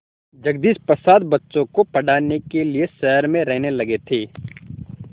जगदीश प्रसाद बच्चों को पढ़ाने के लिए शहर में रहने लगे थे